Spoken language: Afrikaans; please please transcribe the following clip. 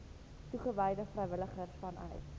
toegewyde vrywilligers vanuit